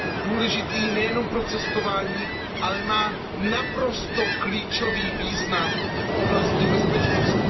důležitý nejenom pro cestování, ale má naprosto klíčový význam v oblasti bezpečnosti.